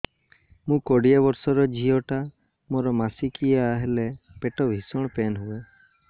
ମୁ କୋଡ଼ିଏ ବର୍ଷର ଝିଅ ଟା ମୋର ମାସିକିଆ ହେଲେ ପେଟ ଭୀଷଣ ପେନ ହୁଏ